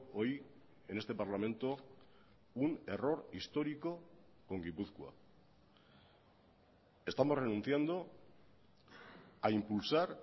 hoy en este parlamento un error histórico con gipuzkoa estamos renunciando a impulsar